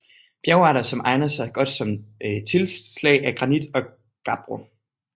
Bjergarter som egner sig godt som tilslag er granit og gabbro